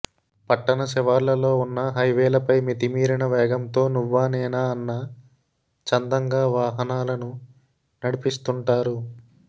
పట్టణ శివార్లలలో ఉన్న హైవేలపై మితిమీరిన వేగంతో నువ్వా నేనా అన్న చందంగా వాహనాలను నడిపిస్తుంటారు